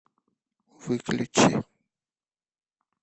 выключи